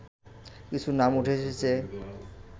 কিছু নাম উঠে এসেছে